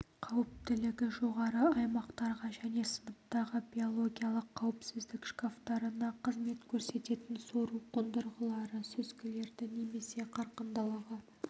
қауіптілігі жоғары аймақтарға және сыныптағы биологиялық қауіпсіздік шкафтарына қызмет көрсететін сору қондырғылары сүзгілерді немесе қарқындылығы